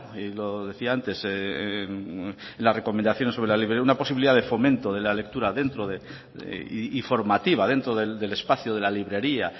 y lo decía antes en las recomendaciones sobre la veo una posibilidad de fomento de la lectura y formativa dentro del espacio de la librería